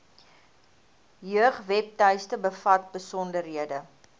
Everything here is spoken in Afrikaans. jeugwebtuiste bevat besonderhede